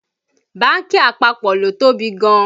Bánkì àpapọ̀ ló tóbi gan